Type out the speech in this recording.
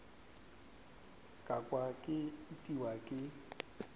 ka kwa ke itiwa ke